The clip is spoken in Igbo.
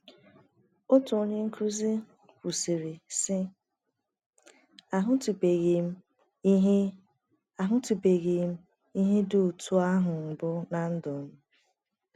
Otu onye nkụzi kwuru, sị: “ Ahụtụbeghị m ihe Ahụtụbeghị m ihe dị otú ahụ mbụ ná ndụ m.